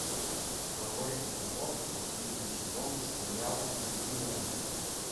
второй эпизод последний сезон сериал континуум